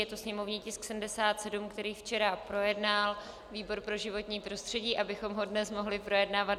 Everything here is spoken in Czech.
Je to sněmovní tisk 77, který včera projednal výbor pro životní prostředí, abychom ho dnes mohli projednávat.